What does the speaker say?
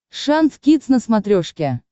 шант кидс на смотрешке